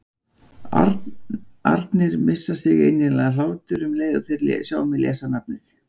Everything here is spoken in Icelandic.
arnir missa sig í innilegan hlátur um leið og þeir sjá mig lesa nafnið.